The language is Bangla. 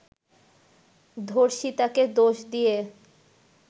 ধর্ষিতাকে দোষ দিয়ে